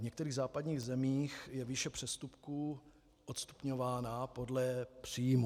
V některých západních zemích je výše přestupků odstupňována podle příjmů.